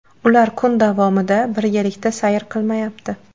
Ular kun davomida birgalikda sayr qilmayapti.